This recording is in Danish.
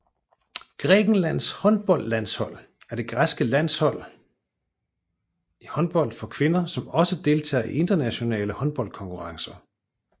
Grækenlands håndboldlandshold er det græske landshold i håndbold for kvinder som også deltager i internationale håndboldkonkurrencer